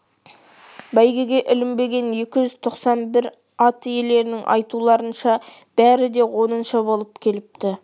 бәйгеге ілінбеген екі жүз тоқсан бір ат иелерінің айтуларынша бәрі де оныншы болып келіпті